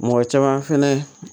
Mɔgɔ caman fɛnɛ